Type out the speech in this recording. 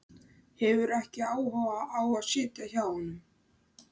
Hefur ekki áhuga á að sitja hjá honum.